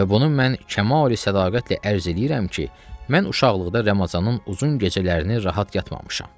Və bunu mən Kəmalü Sədaqətlə ərz eləyirəm ki, mən uşaqlıqda Ramazanın uzun gecələrini rahat yatmamışam.